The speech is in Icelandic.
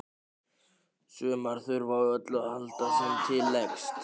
Sumar þurfa á öllu að halda sem til leggst.